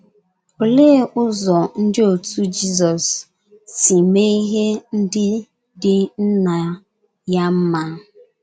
Olee ụzọ ndị otú Jizọs si mee ihe ndị dị Nna ya mma?